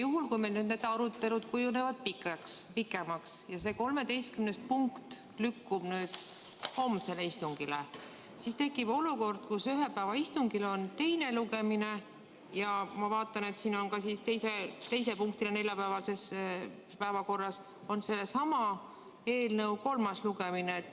Juhul, kui meie arutelud kujunevad pikemaks ja 13. punkt lükkub homsele istungile, siis tekib olukord, et ühe päeva istungil on nii teine lugemine – nagu ma näen, on neljapäevase päevakorra teine punkt sellesama eelnõu kolmas lugemine.